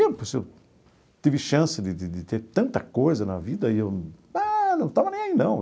Eu tive chance de de de ter tanta coisa na vida e eu ah não estava nem aí, não.